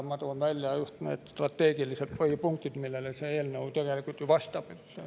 Ma toon välja need strateegilised põhipunktid, millele see eelnõu tegelikult vastab.